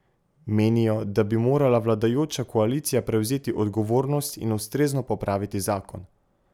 Menijo, da bi morala vladajoča koalicija prevzeti odgovornost in ustrezno popraviti zakon.